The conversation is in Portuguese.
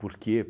Por quê?